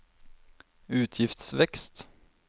utgiftsvekst